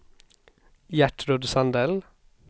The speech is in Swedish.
Gertrud Sandell